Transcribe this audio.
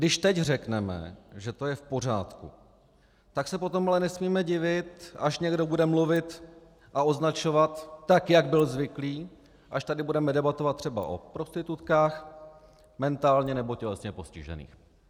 Když teď řekneme, že to je v pořádku, tak se potom ale nesmíme divit, až někdo bude mluvit a označovat tak, jak byl zvyklý, až tady budeme debatovat třeba o prostitutkách, mentálně nebo tělesně postižených.